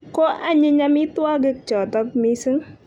Ko anyiny amitwogik chotok missing'